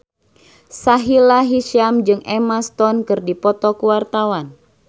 Sahila Hisyam jeung Emma Stone keur dipoto ku wartawan